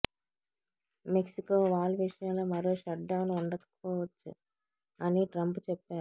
Mexico wall విషయంలో మరో shutdown ఉండకపోవచ్చు అని ట్రంప్ చెప్పారు